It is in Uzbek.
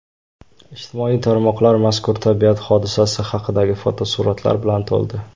Ijtimoiy tarmoqlar mazkur tabiat hodisasi haqidagi fotosuratlar bilan to‘ldi.